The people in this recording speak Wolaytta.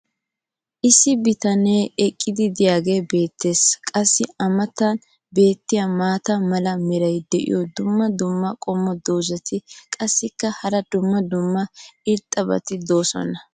issi bitanee eqqidi diyaagee beettees. qassi a matan beettiya maata mala meray diyo dumma dumma qommo dozzati qassikka hara dumma dumma irxxabati doosona.